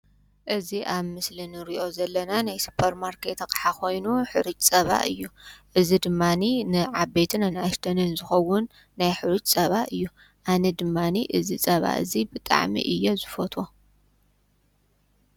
እዚ ኣብ ምስሊ ንርእዮ ዘለና ናይ ስፖርማርኬት ኣቐሓ ኮይኑ ሕሩጭ ፀባ እዩ ።እዚ ድማኒ ንዓበይትን ኣናኣሽተንን ዝኸዉን ናይ ሕሩጭ ፀባ እዩ ።ኣነ ድማኒ እዚ ፀባ እዚ ብጣዕሚ እየ ዝፈትዎ።